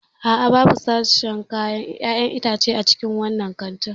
A'a, babu sashin 'ya'yan itace a cikin wannan kantin.